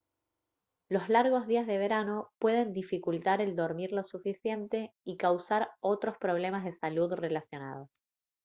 los largos días del verano pueden dificultar el dormir lo suficiente y causar otros problemas de salud relacionados